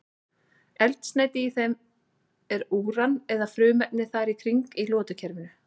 Eldsneyti í þeim er úran eða frumefni þar í kring í lotukerfinu.